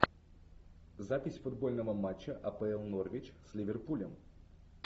запись футбольного матча апл норвич с ливерпулем